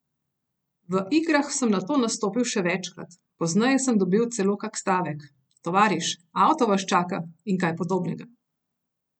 V igrah sem nato nastopil še večkrat, pozneje sem dobil celo kak stavek: 'Tovariš, avto vas čaka' in kaj podobnega.